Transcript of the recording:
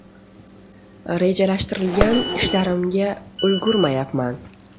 Rejalashtirilgan ishlarimga ulgurmayapman.